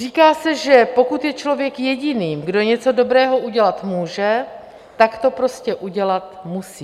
Říká se, že pokud je člověk jediným, kdo něco dobrého udělat může, tak to prostě udělat musí.